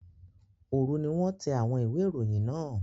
Òru ni wọ́n tẹ àwọn ìwé-ìròyìn náà.